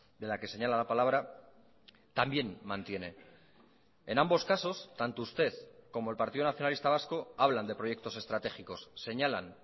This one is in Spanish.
de la que señala la palabra también mantiene en ambos casos tanto usted como el partido nacionalista vasco hablan de proyectos estratégicos señalan